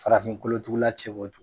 Farafin kolo tugula cɛbɔ de ye